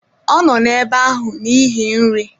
Ọ nọ n'ebe ahụ n'ihi nri